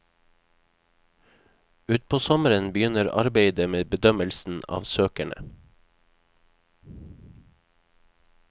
Utpå sommeren begynner arbeidet med bedømmelsen av søkerne.